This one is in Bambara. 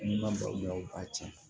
N'i ma balo la u b'a tiɲɛ